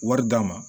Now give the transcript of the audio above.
Wari d'a ma